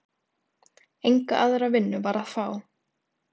Enga aðra vinnu var að fá.